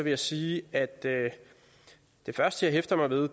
jeg sige at det første jeg hæfter mig ved